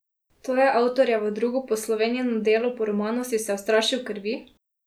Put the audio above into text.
To je avtorjevo drugo poslovenjeno delo po romanu Si se ustrašil krvi?